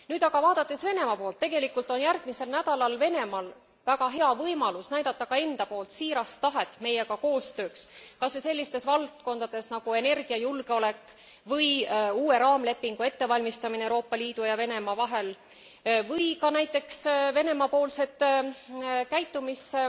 Nüüd aga vaadates Venemaa poolt tegelikult on Venemaal järgmisel nädalal väga hea võimalus näidata ka enda poolt siirast tahet meiega koostööks, kas või sellistes valdkondades nagu energiajulgeolek või uue raamlepingu ettevalmistamine Euroopa Liidu ja Venemaa vahel või ka, näiteks, Venemaa poolsed käitumis